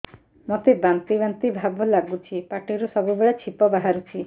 ମୋତେ ବାନ୍ତି ବାନ୍ତି ଭାବ ଲାଗୁଚି ପାଟିରୁ ସବୁ ବେଳେ ଛିପ ବାହାରୁଛି